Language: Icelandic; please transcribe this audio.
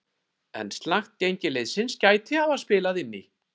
En slakt gengi liðsins gæti hafa spilað inn í.